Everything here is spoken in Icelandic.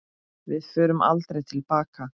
Við förum aldrei til baka.